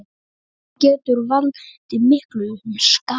Hún getur valdið miklum skaða.